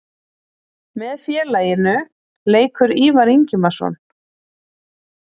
Með félaginu leikur Ívar Ingimarsson.